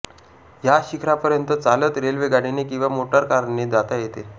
या शिखरापर्यंत चालत रेल्वेगाडीने किंवा मोटारकारने जाता येते